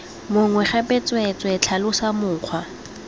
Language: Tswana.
mongwe gape tsweetswee tlhalosa mokgwa